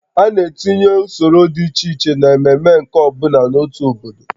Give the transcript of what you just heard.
A na-etinye usoro dị iche iche n'ememe nke ọ bụla n'otu obodo